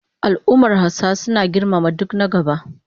Al'ummar Hausawa suna girmama duk na gaba